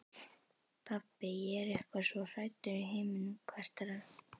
Pabbi, ég er eitthvað svo hræddur í heiminum, kvartar hann.